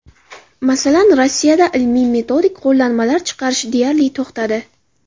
Masalan, Rossiyada ilmiy-metodik qo‘llanmalar chiqarish deyarli to‘xtadi.